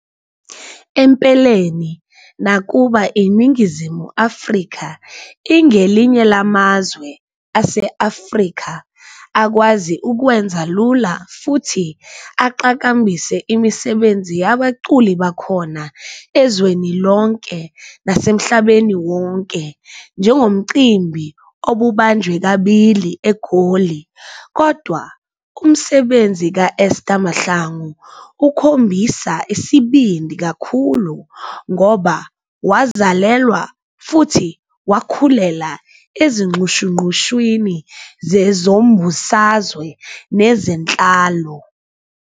Empeleni nakuba iNingizimu Afrika ingelinye lamazwe ase-Afrika akwazi ukwenza lula futhi aqhakambise imisebenzi yabaculi bakhona ezweni lonke nasemhlabeni wonke njengomcimbi obubanjwe kabili eGoli, kodwa umsebenzi ka-Esther Mahlangu ukhombisa isibindi kakhulu ngoba wazalelwa futhi wakhulela ezinxushunxushwini zezombusazwe nezenhlalo.